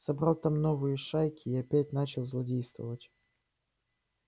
собрал там новые шайки и опять начал злодействовать